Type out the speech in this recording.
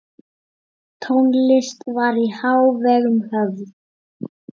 Tónlist var í hávegum höfð.